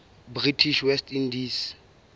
british west indies